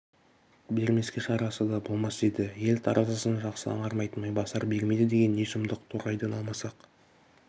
бермеске шарасы да болмас еді ел таразысын жақсы аңғармайтын майбасар бермейді деген не сұмдық торғайдан алмасақ